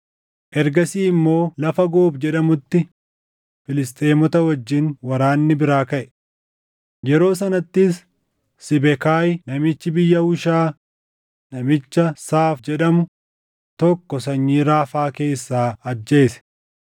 Ergasii immoo lafa Goob jedhamutti Filisxeemota wajjin waraanni biraa kaʼe. Yeroo sanattis Siibekaay namichi biyya Hushaa namicha Saaf jedhamu tokko sanyii Raafaa keessaa ajjeese.